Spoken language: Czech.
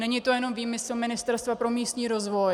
Není to jen výmysl Ministerstva pro místní rozvoj.